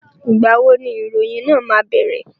Ìgbà wo ni ìròyìn náà máa bẹ̀rẹ̀?